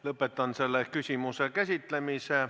Lõpetan selle küsimuse käsitlemise.